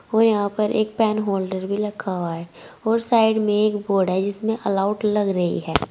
और यहां पर एक पेन होल्डर भी रखा हुआ है और साइड में एक बोर्ड है जिसमें आल आउट लग रही है।